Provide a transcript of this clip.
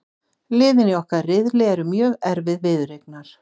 Liðin í okkar riðli eru mjög erfið viðureignar,